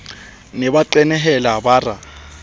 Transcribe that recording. ne ba qenehela bara ba